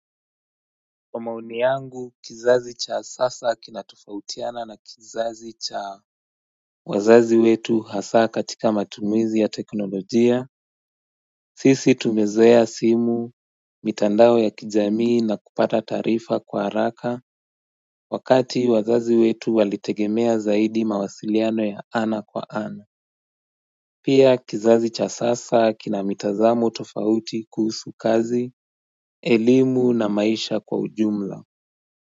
Kwa maoni yangu kizazi cha sasa kinatofautiana na kizazi cha wazazi wetu hasa katika matumizi ya teknolojia sisi tumezoea simu mitandao ya kijamii na kupata taarifa kwa haraka Wakati wazazi wetu walitegemea zaidi mawasiliano ya ana kwa ana Pia kizazi cha sasa kinamitazamo tofauti kuhusu kazi, elimu na maisha kwa ujumla.